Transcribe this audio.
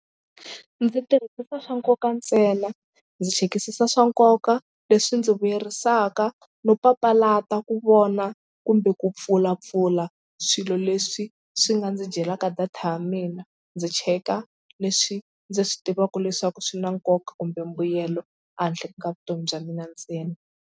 Ndzi tirhisisa swa nkoka ntsena ndzi chekisisa swa nkoka leswi ndzi vuyerisaka no papalata ku vona kumbe ku pfulapfula swilo leswi swi nga ndzi dyelaka data ya mina ndzi cheka leswi ndzi swi tivaka leswaku swi na nkoka kumbe mbuyelo a handle ka vutomi bya mina ntsena.